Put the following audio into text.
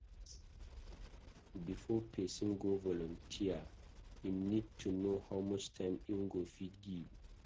Before person go volunteer, im need to know how much time im go fit give